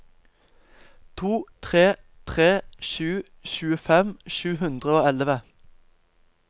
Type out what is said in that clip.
to tre tre sju tjuefem sju hundre og elleve